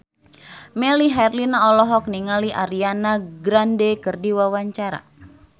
Melly Herlina olohok ningali Ariana Grande keur diwawancara